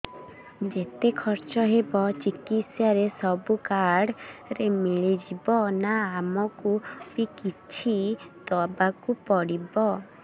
ଯେତେ ଖର୍ଚ ହେବ ଚିକିତ୍ସା ରେ ସବୁ କାର୍ଡ ରେ ମିଳିଯିବ ନା ଆମକୁ ବି କିଛି ଦବାକୁ ପଡିବ